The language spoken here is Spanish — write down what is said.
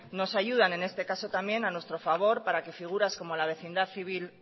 nos ayudan en este caso también a nuestro favor para que las figuras como la vecindad civil